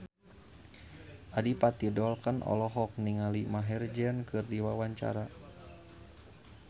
Adipati Dolken olohok ningali Maher Zein keur diwawancara